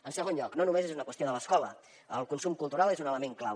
en segon lloc no només és una qüestió de l’escola el consum cultural és un element clau